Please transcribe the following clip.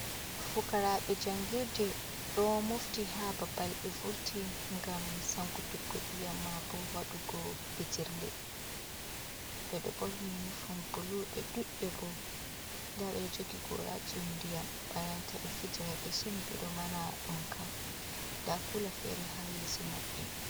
Fukaraɓe jangirde ɗo mofti ha babal ɓe vurti ngam sankutuggo iyam ma bo waɗugo fijirle, ɓe ɗo ɓorni unufom bulu ɓe dudɓe bo nda ɓe jogi gorajin ndiyam bana ta ɓe Fiji mai ɓe somi ɓe ɗo nana ɗonka nda kuula feere ha yeeso maɓɓe.